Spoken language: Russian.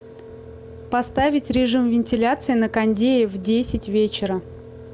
поставить режим вентиляции на кондее в десять вечера